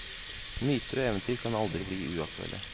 Myter og eventyr kan aldri bli uaktuelle.